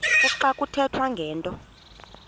kuxa kuthethwa ngento